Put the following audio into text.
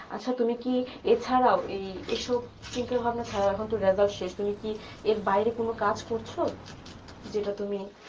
আচ্ছা তুমি কি আর ছাড়াও এ সব চিন্তা ভাবনা ছাড়াও এখন তো result সে শুনি কি এর বাইরে কোনো কাজ করছো যেটা তুমি